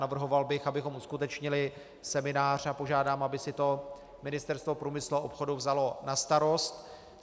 Navrhoval bych, abychom uskutečnili seminář, a požádám, aby si to Ministerstvo průmyslu a obchodu vzalo na starost.